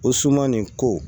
O suman nin ko